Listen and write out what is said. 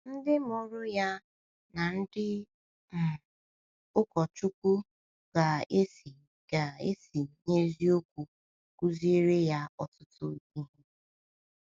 Ndị mụrụ ya na ndị um ụkọchukwu ga-esi ga-esi n’eziokwu kụziere ya ọtụtụ ihe.